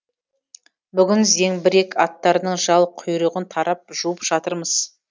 бүгін зеңбірек аттарының жал құйрығын тарап жуып жатырмыз